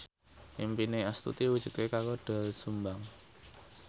impine Astuti diwujudke karo Doel Sumbang